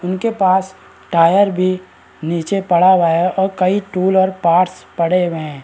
इनके पास टायर भी नीचे पड़ा हुआ है और कई टूल और पार्ट्स पड़े हुएं हैं।